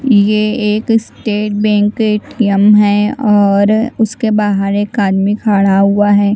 यह एक state bank ATM है और उसके बाहर एक आदमी खड़ा हुआ है।